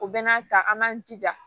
U bɛna ta an b'an jija